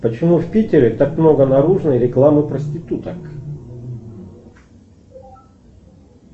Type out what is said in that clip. почему в питере так много наружной рекламы проституток